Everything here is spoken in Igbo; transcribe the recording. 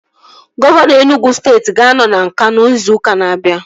Gọvanọ Enugwu steeti ga-anọ na Nkanụ ịzụ ụka na-abia